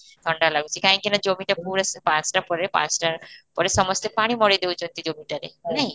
ଥଣ୍ଡା ଲାଗୁଚି କାହିଁକି ନା କାହିଁକି ନା ପୁରା ପାଞ୍ଚଟା ପରେ ପାଞ୍ଚଟା ପରେ ସମସ୍ତେ ପାଣି ମରେଈ ଦୋଉଛନ୍ତି ଜମିଟାରେ, ନାଇଁ?